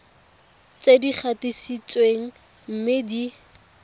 tse di gatisitsweng mme di